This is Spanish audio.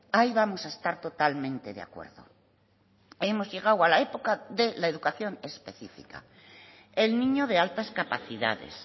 ahí vamos a estar totalmente de acuerdo hemos llegado a la época de la educación específica el niño de altas capacidades